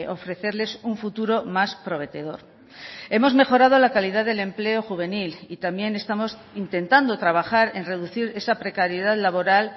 ofrecerles un futuro más prometedor hemos mejorado la calidad del empleo juvenil y también estamos intentando trabajar en reducir esa precariedad laboral